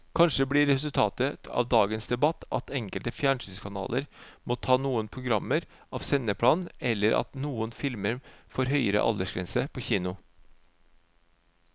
Kanskje blir resultatet av dagens debatt at enkelte fjernsynskanaler må ta noen programmer av sendeplanen eller at noen filmer får høyere aldersgrense på kino.